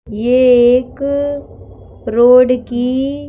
यह एक रोड की--